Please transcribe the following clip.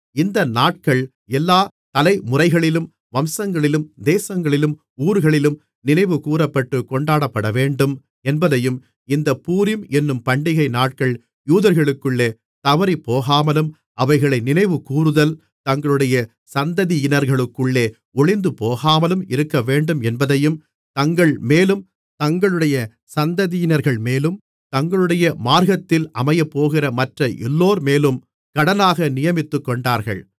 இந்த நாட்கள் எல்லாத் தலைமுறைகளிலும் வம்சங்களிலும் தேசங்களிலும் ஊர்களிலும் நினைவுகூறப்பட்டு கொண்டாடப்படவேண்டும் என்பதையும் இந்தப் பூரீம் என்னும் பண்டிகை நாட்கள் யூதர்களுக்குள்ளே தவறிப்போகாமலும் அவைகளை நினைவுகூருதல் தங்களுடைய சந்ததியினர்களுக்குள்ளே ஒழிந்துபோகாமலும் இருக்கவேண்டும் என்பதையும் தங்கள்மேலும் தங்களுடைய சந்ததியினர்கள்மேலும் தங்களுடைய மார்க்கத்தில் அமையப்போகிற மற்ற எல்லோர்மேலும் கடனாக நியமித்துக் கொண்டார்கள்